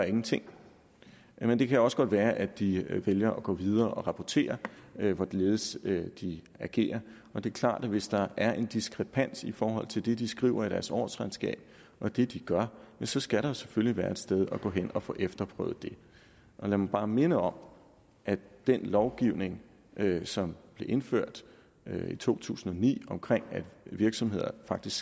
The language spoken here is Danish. ingenting gør men det kan også godt være at de vælger at gå videre og rapportere hvorledes de agerer og det er klart at hvis der er en diskrepans i forhold til det de skriver i deres årsregnskab og det de gør så skal der selvfølgelig være et sted at gå hen og få efterprøvet det lad mig bare minde om at den lovgivning som blev indført i to tusind og ni om at virksomheder faktisk